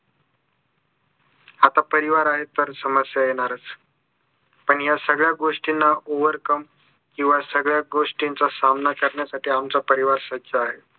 आता परिवार आहे तर समस्या येणारच आणि या सगळ्या गोष्टींना overcome किंवा सगळ्या गोष्टींचा सामना करण्यासाठी आमचा परिवार सज्ज आहे